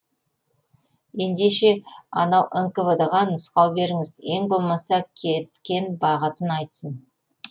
ендеше ана нквд ға нұсқау беріңіз ең болмаса кеткен бағытын айтсын